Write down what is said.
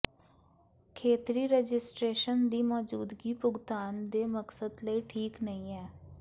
ਖੇਤਰੀ ਰਜਿਸਟਰੇਸ਼ਨ ਦੀ ਮੌਜੂਦਗੀ ਭੁਗਤਾਨ ਦੇ ਮਕਸਦ ਲਈ ਠੀਕ ਨਹੀ ਹੈ